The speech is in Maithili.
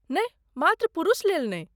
नहि, मात्र पुरुषलेल नहि।